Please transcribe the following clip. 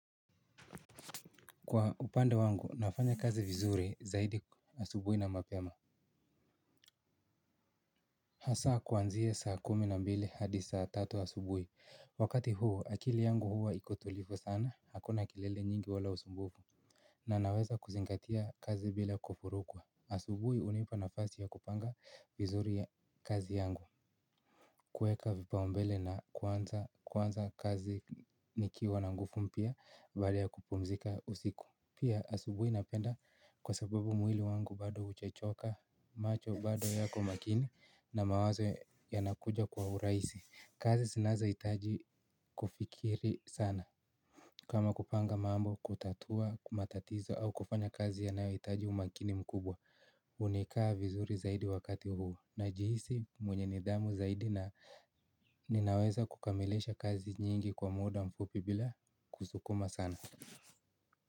Kwa upande wangu nafanya kazi vizuri zaidi asubuhi na mapema. Hasa kuanzia saa kumi na mbili hadi saa tatu asubuhi wakati huo akili yangu huwa iko tulivu sana hakuna kelele nyingi wala usumbufu. Na naweza kuzingatia kazi bila kuvurugwa. Asubuhi hunipa nafasi ya kupanga vizuri ya kazi yangu. Kuweka vipaombele na kuanza kuanza kazi nikiwa na nguvu mpya baada ya kupumzika usiku. Pia asubuhi napenda kwa sababu mwili wangu bado hujachoka macho bado yako makini na mawazo yanakuja kwa urahisi. Kazi zinazo hitaji kufikiri sana kama kupanga mambo, kutatua, matatizo au kufanya kazi yanayohitaji umakini mkubwa hunikaa vizuri zaidi wakati huu najihisi mwenye nidhamu zaidi na ninaweza kukamilisha kazi nyingi kwa muda mfupi bila kusukuma sana.